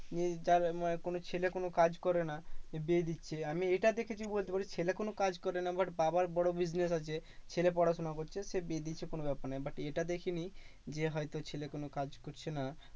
নিয়ে যার মানে কোনো ছেলে কোনো কাজ করে না বিয়ে দিচ্ছে। আমি এটা দেখেছি বলতে পারিস, ছেলে কোনো কাজ করে না but বাবার বড় business আছে। ছেলে পড়াশোনা করছে, সে বিয়ে দিচ্ছে কোনো ব্যাপার না but এটা দেখিনি যে হয়তো ছেলে কোনো কাজ করছে না